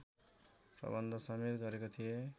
प्रबन्धसमेत गरेका थिए